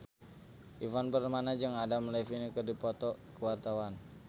Ivan Permana jeung Adam Levine keur dipoto ku wartawan